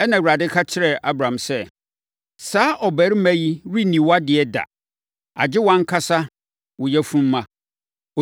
Ɛnna Awurade ka kyerɛɛ Abram sɛ, “Saa ɔbarima yi renni wʼadeɛ da, agye wʼankasa wo yafumma.”